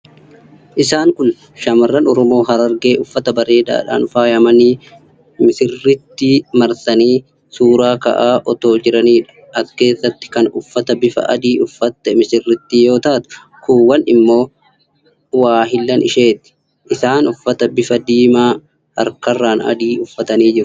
Isaan kun shammarran Oromoo harargee uffata bareedaadhaan faayamanii misirrittii marsaniii suura ka'aa otoo jiraniidha. As keessatti kan uffata bifa adii uffatte misirrittii yoo taatu, kuuwwan isaanii ammoo waahillan isheeti. Isaan uffata bifaan diimaa, harkarraan adii uffatanii jiru.